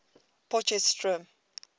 potchefstroom